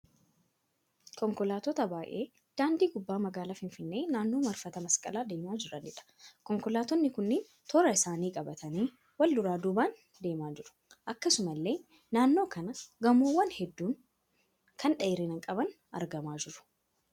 Konkolaattota baay'ee daandii gubbaa magaalaa Finfinnee naannoo marfata masqalaa deemaa jiraniidha. Konkolaattonni kunneen toora isaanii qabatanii wal duraa duubaan deemaa jiru. Akkasumallee naannoo kana gamoowwan hedduun kan dheerina qaban argamaa jiru.